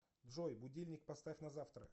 джой будильник поставь на завтра